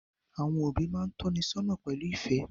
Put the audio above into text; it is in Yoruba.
Àwọn òbí máa tónisọ́nà pẹ̀lú ìfẹ́